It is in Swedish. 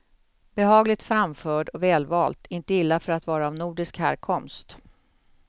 Behagligt framförd och välvalt, inte illa för att vara av nordisk härkomst.